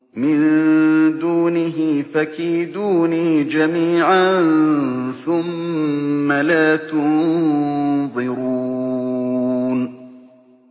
مِن دُونِهِ ۖ فَكِيدُونِي جَمِيعًا ثُمَّ لَا تُنظِرُونِ